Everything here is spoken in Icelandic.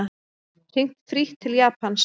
Hringt frítt til Japans